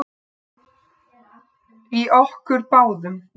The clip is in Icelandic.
Í okkur báðum.